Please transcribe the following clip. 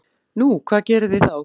Nú, hvað gerið þið þá?